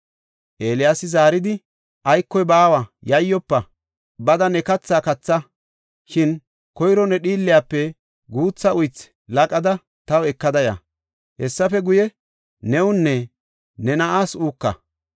Eeliyaasi zaaridi, “Aykoy baawa, yayyofa; bada ne kathaa katha. Shin koyro ne dhiilliyafe guutha uythi laqada taw ekada ya; hessafe guye, newunne ne na7aas uuka.